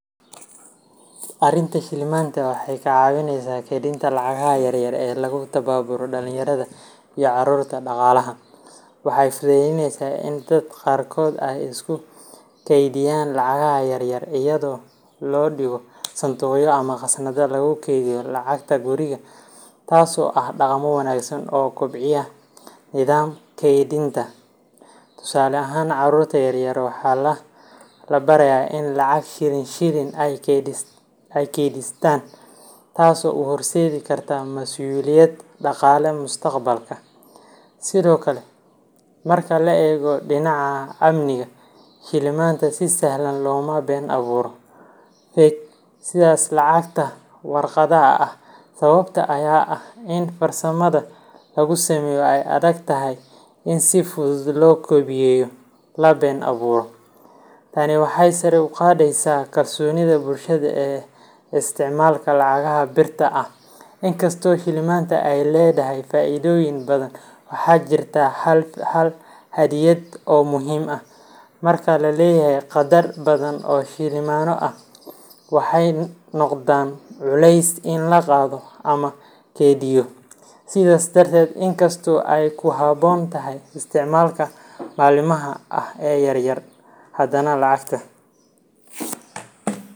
Arinta, Shilimaanta waxay ka caawisaa kaydinta lacagaha yaryar ee lagu tababaro dhallinyarada iyo carruurta dhaqaalaha. Waxay fududeyneysaa in dadka qaarkood ay isku kaydiyaan lacagaha yaryar iyadoo loo dhigo sanduuqyo ama khasnadaha lagu keydiyo lacagta guriga, taasoo ah dhaqamo wanaagsan oo kobciya nidaamka kaydinta. Tusaale ahaan, carruurta yar yar waxaa la barayaa inay lacag shilin shilin ah keydsadaan, taasoo u horseedi karta mas’uuliyad dhaqaale mustaqbalka. Sidoo kale, marka la eego dhinaca amniga, shilimaanta si sahlan looma been abuuro fake sida lacagta warqadda ah. Sababta ayaa ah in farsamada lagu sameeyo ay adag tahay in si fudud loo koobiyeeyo, sidoo kalena qiimaha shilimaanta oo hooseeya ayaa ka dhigaya mid aan faa’iido badan laga helin haddii la been abuuro. Tani waxay sare u qaadaysaa kalsoonida bulshada ee isticmaalka lacagaha birta ah. Inkastoo shilimaanta ay leedahay faa’iidooyin badan, waxaa jirta hal xaddidaad oo muhiim ah: marka la leeyahay qaddar badan oo shilimaanno ah, waxay noqdaan culays in la qaato ama la kaydiyo. Sidaas darteed, in kasta oo ay ku habboon tahay isticmaalka maalinlaha ah ee yaryar, haddana lacagta.